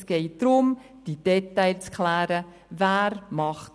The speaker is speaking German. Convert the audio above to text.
Es geht um diese Details, darum, zu klären, wer was macht.